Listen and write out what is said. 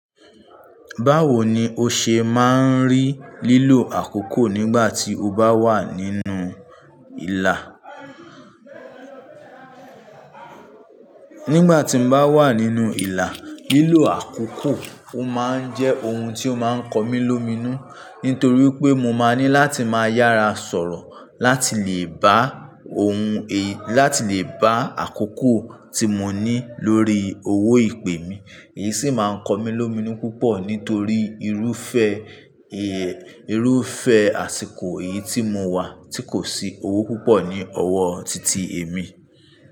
Báwo ni o ṣe máa ń rí lílo àkókò nígbà tí o bá wà nínú ìlà? Nígbà tí mo bá wà nínú ìlà, lílo àkókò ó máa ń jẹ́ ohun tí ó máa ń kọ mí lómìnú. Nítorí pé mo máa ní láti máa yára sọ̀rọ̀ láti lè bá òun, láti lè bá àkókò tí mo ní lórí owó ìpè mi. Èyí sì máa ń kọ mí lómìná púpọ̀ nítorí irúfẹ́, irúfẹ́ àsìkò èyí tí mo wà tí kò sí owó púpọ̀ ní ọwọ́ titi èmi.